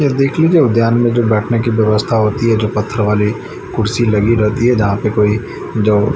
यह देख लीजिए उद्यान में जो बैठने की व्यवस्था होती है जो पत्थर वाली कुर्सी लगी रहती है जहां पे कोई जो--